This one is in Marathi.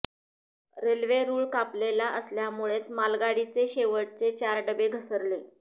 रेल्वे रुळ कापलेला असल्यामुळेच मालगाडीचे शेवटचे चार डबे घसरले